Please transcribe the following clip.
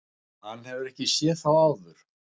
Hann hefur ekki séð þá áður.